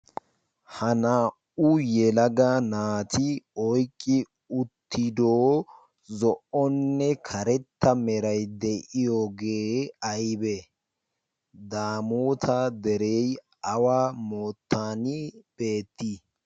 ha naa77u yelaga naati oiqqi uttidoo zo77onne karetta merai de7iyoogee aibe ?daamoota derei awa moottaani beettii?